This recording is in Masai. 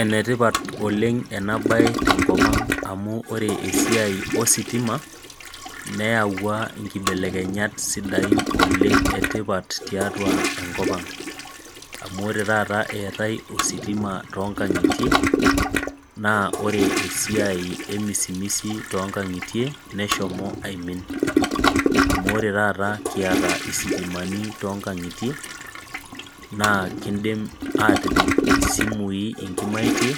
Enetipat oleng ena bae tenkopang amu ore esiai ositima, neyaua nkibelekenyat kumok sidain oleng tiatua enkopang. Amu ore taata eetae ositima toonkangitie ,naa ore siai emisimisi toonkangitie neshomo aimin. Amu ore taata kiata sitimani toonkangitie naa enkindim atipik simui nkimaitie,